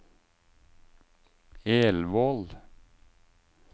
Elvål